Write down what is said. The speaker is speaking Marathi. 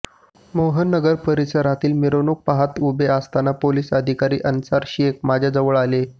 मोहननगर परिसरातील मिरवणुक पाहत उभा असताना पोलीस अधिकारी अन्सार शेख माझ्याजवळ आले